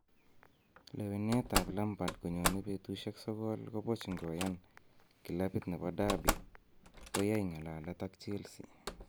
Lewenetab Lampard konyone betusiek sogol koboch ngoyan kilabit nebo Derby koyai ng'alalet ak Chelsea